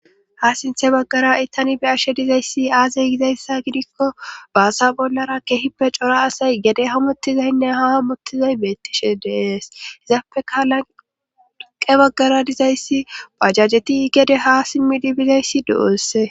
ha sinthe baggara itani be ashe dizayssi aasey gizayssa gidikko baasa bollara kehippe cora asay gede hamottizaynne ha hamottizay beettishe dees hizaappeka lanqe baggara dizayssi pajajeti gede ha simmidi bizayssi do7osse